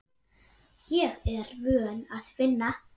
Ég er vön að vinna.